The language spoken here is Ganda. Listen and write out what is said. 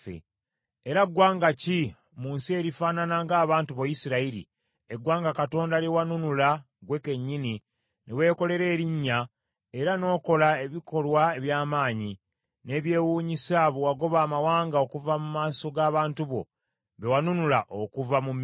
Era ggwanga ki mu nsi erifaanana ng’abantu bo Isirayiri, eggwanga Katonda lye wanunula ggwe kennyini, ne weekolera erinnya, era n’okola ebikolwa eby’amaanyi, n’ebyewunyisa bwe wagoba amawanga okuva mu maaso g’abantu bo, be wanunula okuva mu Misiri?